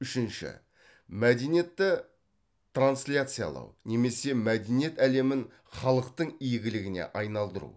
үшінші мәдениетті трансляциялау немесе мәдениет әлемін халықтың игілігіне айналдыру